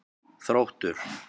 Þróttur